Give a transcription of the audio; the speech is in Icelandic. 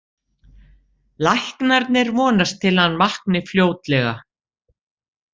Læknarnir vonast til að hann vakni fljótlega.